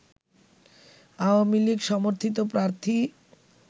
Awami League সমর্থিত প্রার্থী